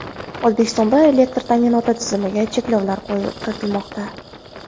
O‘zbekistonda elektr ta’minoti tizimiga cheklovlar kiritilmoqda.